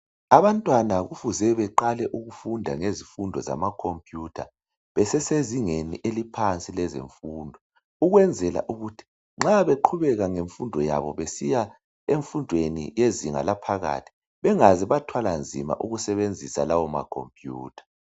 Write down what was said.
Abantwana kufuze beqale ukufunda ngezifundo zamakhompiyutha besesezingeni eliphansi lezemfundo, ukwenzela ukuthi nxa beqhubeka ngemfundo yabo besiya emfundweni yezinga laphakathi, bengaze bathwala nzima ukusebenzisa lawo makhompiyutha.